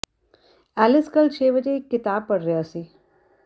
Alice ਕੱਲ੍ਹ ਛੇ ਵਜੇ ਇਕ ਕਿਤਾਬ ਪੜ੍ਹ ਰਿਹਾ ਸੀ